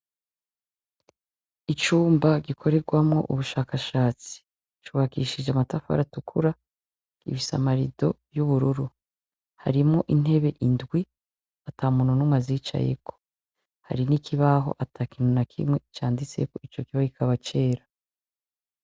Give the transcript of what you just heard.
Icumba gikorerwamwo ubushakashatsi, c'ubakishije amatafari atukura, gifise ama rido y'ubururu, harimwo intebe indwi atamuntu n'umwe azicayeko, hari n'ikibaho atakintu nakimwe canditseho, ico kibaho kikaba cera.